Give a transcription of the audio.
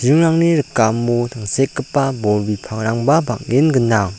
ringrangni rikamo tangsekgipa bol bipangrangba bang·en gnang.